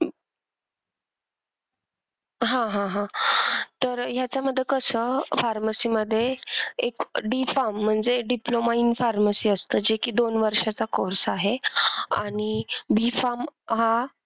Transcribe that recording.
हा हा हा तर ह्यांच्यामध्ये कस pharmacy मध्ये एक D farm म्हणजे diploma in pharmacy असत जे कि दोन वर्षाचा course आहे आणि D farm हा,